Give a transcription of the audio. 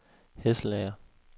Hesselager